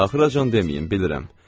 Axıracan deməyin, bilirəm.